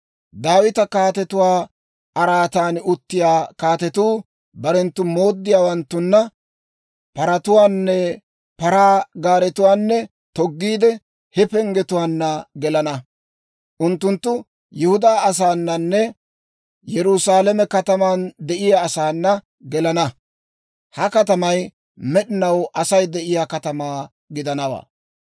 Daawita kaatetuwaa araatan uttiyaa kaatetuu barenttu mooddiyaawanttunna paratuwaanne paraa gaaretuwaa toggiide, he penggetuwaanna gelana. Unttunttu Yihudaa asaananne Yerusaalame kataman de'iyaa asaana gelana; ha katamay med'inaw Asay de'iyaa katamaa gidanawaa.